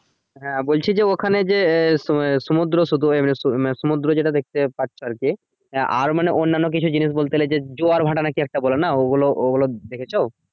হ্যাঁ বলছি যে ওখানে যে আহ তোমার যে সমুদ্র সৈকত আহ মানে সমুদ্র যেটা পাচ্ছো আরকি আহ আর মানে অন্যান্য কিছু জিনিস বলতে গেলে যে জোয়ার ভাটা নাকি একটা বলে না ওগুলো ওগুলো দেখেছো